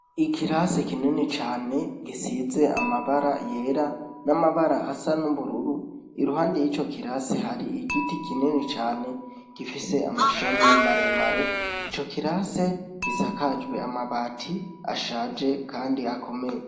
Ikirasi kinini cane gisize amabara yera n'amabara asa n'ubururu, iruhande y'ico kirasi hari igiti kinini cane gifise amashami maremare. Ico kirasi gisakajwe amabati ashaje kandi akomeye.